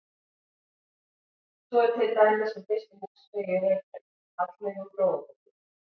Svo er til dæmis um fyrstu húsfreyju í Reykjavík, Hallveigu Fróðadóttur.